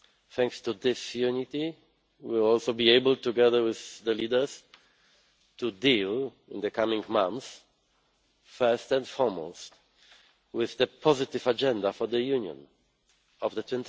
Thanks to this unity we will also be able together with the leaders to deal in the coming months first and foremost with the positive agenda for the Union of the